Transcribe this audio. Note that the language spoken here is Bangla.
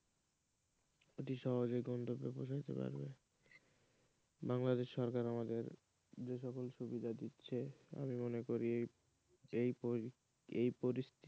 অতি সহজে গন্তব্যস্থলে পৌঁছে যেতে পারবে বাংলাদেশ সরকার আমাদের যে সকল সুবিধা দিচ্ছে আমি মনে করি এই পরিস্থিতি,